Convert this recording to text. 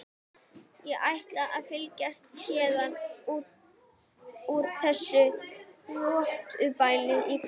Ég ætla að flytja héðan úr þessu rottubæli í kvöld.